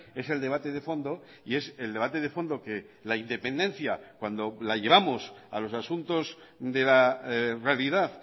es el debate de fondo y es el debate de fondo que la independencia cuando la llevamos a los asuntos de la realidad